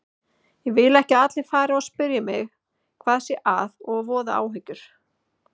Ég vil ekki að allir fari að spyrja mig hvað sé að og voða áhyggjur.